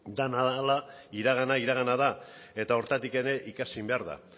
dena dela iragana iragana da eta horretatik ere ikasi behar da